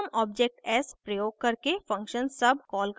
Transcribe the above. फिर हम object s प्रयोग करके function sub कॉल करते हैं